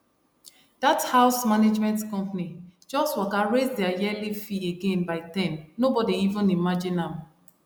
that house management company just waka raise their yearly fee again by ten nobody even imagine am